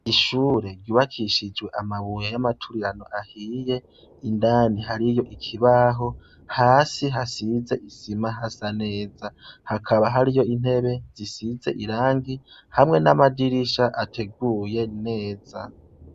Ishure ryubakishijwe amabuye y'amaturirano ahiye ,indani hariyo ikibaho hasi hasize isima hasa neza ,hakaba hariyo intebe zisize irangi hamwe n'amadirisha ateguye neza.